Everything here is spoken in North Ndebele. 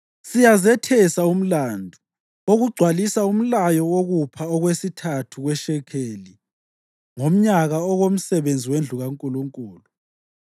Siyazethesa umlandu wokugcwalisa umlayo wokupha okwesithathu kweshekeli ngomnyaka okomsebenzi wendlu kaNkulunkulu: